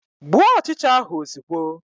Gbuo ọchịcha ahụ ozugbo!